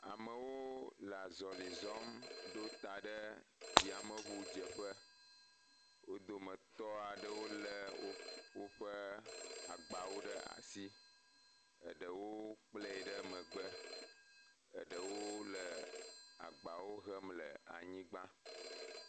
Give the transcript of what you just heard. Amewo le azɔli zɔm ɖo ta ɖe yameŋudzeƒe, wo dometɔ aɖewo lé woƒe agbawo ɖe asi, eɖewo kplɛe ɖe megbe, eɖewo le agbawo hem le anyigba.